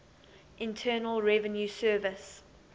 internal revenue service